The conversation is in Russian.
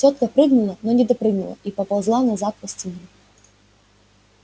тётка прыгнула но не допрыгнула и поползла назад по стене